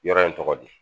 Yɔrɔ in tɔgɔ di